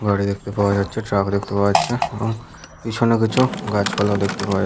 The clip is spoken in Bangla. দেখতে পাওয়া যাচ্ছে ট্রাক দেখতে পাওয়া যাচ্ছে এবং পিছনে কিছু গাছপালা দেখতে পাওয়া যা --